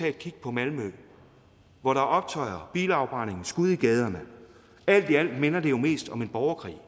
at kigge på malmø hvor der er optøjer bilafbrændinger skud i gaderne alt i alt minder det jo mest om en borgerkrig